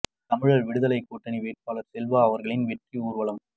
தமிழர் விடுதலை கூட்டணி வேட்பாளர் செல்வா அவர்களின் வெற்றி ஊர்வலம்